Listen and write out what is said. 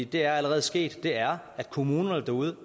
det er allerede sket er at kommunerne derude